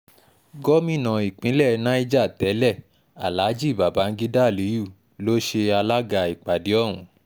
gómìnà ìpínlẹ̀ niger tẹ́lẹ̀ aláàjì babangida aliyu ló ṣe alága ìpàdé ọ̀hún